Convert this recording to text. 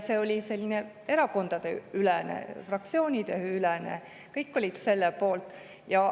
See oli selline erakondadeülene, fraktsioonideülene, kõik olid selle poolt.